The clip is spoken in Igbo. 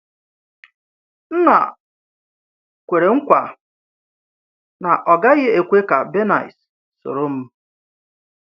Nna kwere nkwa na ọ gaghị ekwe ka Bernice soro m.